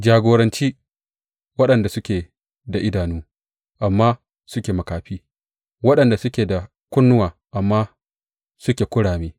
Jagoranci waɗanda suke da idanu amma suke makafi, waɗanda suke da kunnuwa amma suke kurame.